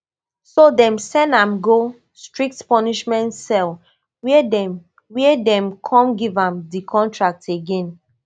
so dem send am go strict punishment cell wia dem wia dem come give am di contract again